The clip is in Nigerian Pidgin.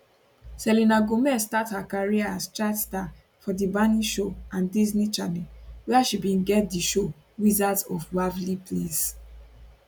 selena gomez start her career as child star for di barney show and disney channel wia she bin get di show wizards of waverly place